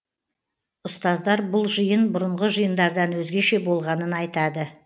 ұстаздар бұл жиын бұрынғы жиындардан өзгеше болғанын айтады